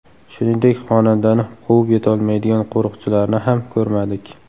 Shuningdek, xonandani quvib yetolmaydigan qo‘riqchilarni ham ko‘rmadik.